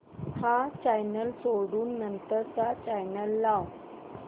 हा चॅनल सोडून नंतर चा चॅनल लाव